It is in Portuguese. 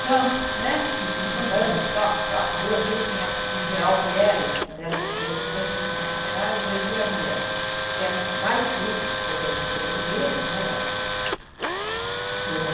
chance, né, andando, toque, toque, duas mil e quinhentas, em geral, mulheres, dessas desses dois mil e quinhentos operários, dois mil eram mulheres, porque eram vários cursos, todas todos os meses, né, vários cursos. Turmas